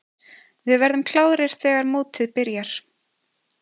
Við verðum klárir þegar mótið byrjar.